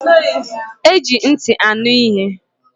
Eji nti anu ihe.